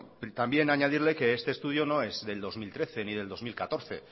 también añadirle que este estudio no es del dos mil trece ni del dos mil catorce